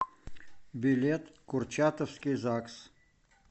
билет курчатовский загс